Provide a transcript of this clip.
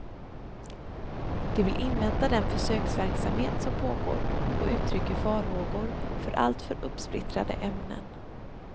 De vill invänta den försöksverksamhet som pågår och uttrycker farhågor för alltför uppsplittrade ämnen.